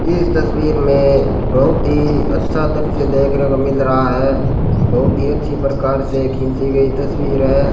इस तस्वीर में बहुत ही अच्छा दृश्य देखने को मिल रहा है बहुत ही अच्छी प्रकार से खींची गई तस्वीर है।